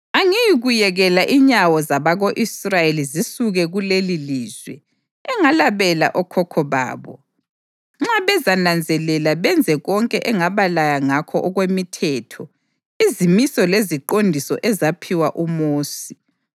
Angiyikuyekela inyawo zabako-Israyeli zisuke kulelilizwe engalabela okhokho babo, nxa bezananzelela benze konke engabalaya ngakho okwemithetho, izimiso leziqondiso ezaphiwa uMosi.”